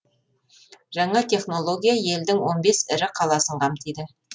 жаңа технология елдің он бес ірі қаласын қамтиды